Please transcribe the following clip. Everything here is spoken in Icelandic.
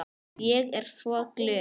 Ég er svo glöð.